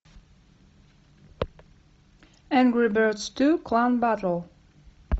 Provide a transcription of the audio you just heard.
энгри бердс ту клан баттл